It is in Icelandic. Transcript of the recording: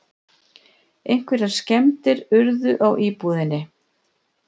Einhverjar skemmdir urðu á íbúðinni